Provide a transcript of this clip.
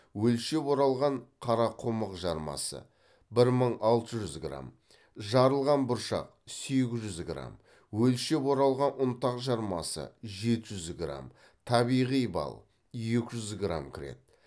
өлшеп оралған қарақұмық жармасы бір мың алты жүз грамм жарылған бұршақ сегіз жүз грамм өлшеп оралған ұнтақ жармасы жеті жүз грамм табиғи бал екі жүз грамм кіреді